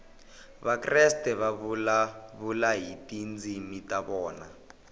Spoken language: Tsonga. vakreste va vulavula hi tindzimi ta vona